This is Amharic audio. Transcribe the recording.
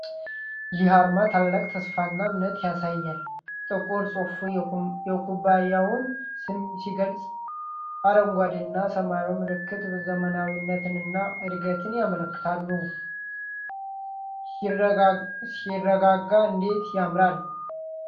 ይህ አርማ ታላቅ ተስፋና እምነትን ያሳያል! ጥቁር ጽሑፉ የኩባንያውን ስም ሲገልፅ፣ አረንጓዴና ሰማያዊው ምልክት ዘመናዊነትንና እድገትን ያመለክታሉ። ሲያረጋጋ! እንዴት ያምራል!